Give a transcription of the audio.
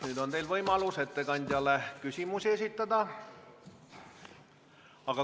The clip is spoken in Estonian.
Nüüd on teil võimalus ettekandjale küsimusi esitada.